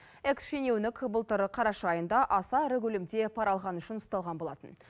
экс шенеунік былтыр қараша айында аса ірі көлемде пара алғаны үшін ұсталған болатын